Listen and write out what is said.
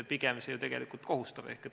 Pigem see ju kohustab.